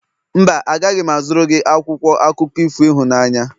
Mba, agaghị m azụrụ gị akwụkwọ akụkọ ifo ịhụnanya.